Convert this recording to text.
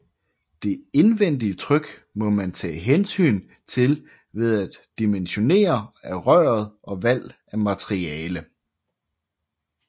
Det indvendige tryk må man tage hensyn til ved dimensionering af røret og valg af materiale